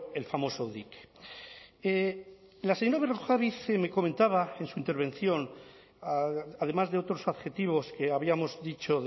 el famoso dique la señora berrojalbiz me comentaba en su intervención además de otros adjetivos que habíamos dicho